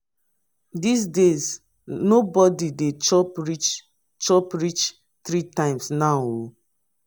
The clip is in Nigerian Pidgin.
dis days no bodi dey chop reach chop reach three times now o.